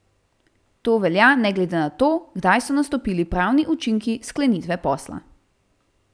To velja ne glede na to, kdaj so nastopili pravni učinki sklenitve posla.